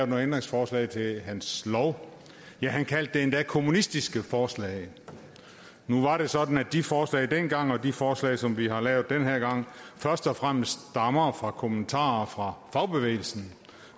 nogle ændringsforslag til hans lov og ja han kaldte dem endda kommunistiske forslag nu var det sådan at de forslag dengang og de forslag som vi har lavet den her gang først og fremmest stammer fra kommentarer fra fagbevægelsen